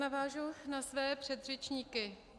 Navážu na své předřečníky.